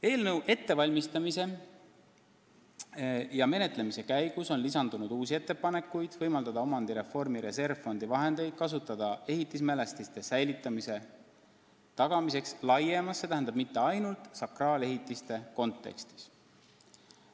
Eelnõu ettevalmistamise ja menetlemise käigus on lisandunud uusi ettepanekuid võimaldada omandireformi reservfondi vahendeid kasutada ehitismälestiste säilitamise tagamiseks laiemas kontekstis, st mitte ainult sakraalehitiste säilitamiseks.